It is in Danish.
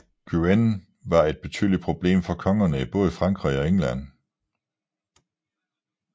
Guyenne var et betydeligt problem for kongerne i både Frankrig og England